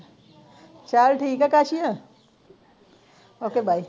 ਚਲ ਚੱਲ ਠੀਕ ਕਾਕੇ ਓਏ ਓਕ ਬਾਏ